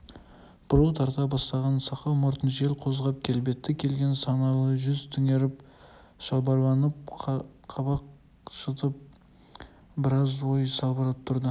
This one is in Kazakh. бурыл тарта бастаған сақал-мұртын жел қозғап келбетті келген саналы жүзі түнеріп шалбарланып қабақ шытып біраз ой сабылтып тұрды